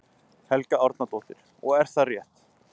Helga Arnardóttir: Og er það rétt?